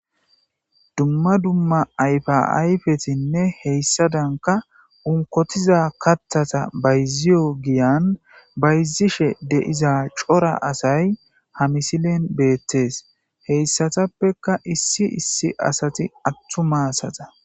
dumma dumma ayfa ayfetinne heyssadanka unkotiza kathata bayziyo giyan bayzishe deiza cora asay hamisilen beettes heyssatappeka issi issi asati attu maasata